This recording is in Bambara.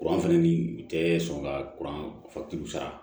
Kuran fɛnɛ ni u tɛ sɔn ka kurancɛ sara